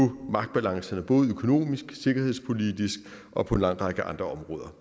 magtbalancerne både økonomisk sikkerhedspolitisk og på en lang række andre områder